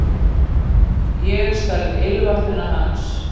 Ég stal ilmvatninu hans